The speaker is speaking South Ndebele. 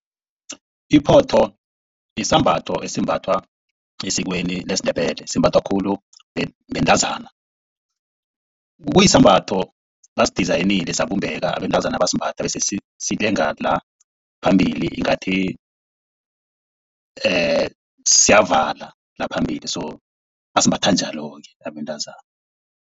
Iphotho sisambatho esimbathwa esikweni lesiNdebele. Simbathwa khulu bantazana. Kuyisembatho basidizayinile sabumbeke abantazana basimbatha. Bese silenga la phambili ngathi siyavala la phambili so, basimbatha njalo-ke abantazana.